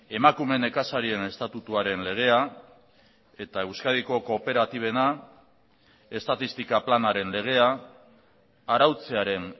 emakume nekazarien estatutuaren legea eta euskadiko kooperatibena estatistika planaren legea arautzearen